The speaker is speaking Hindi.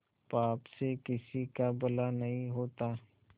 पाप से किसी का भला नहीं होता